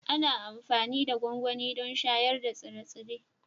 Ana amfani da gwangwani don shayar da tsire-tsire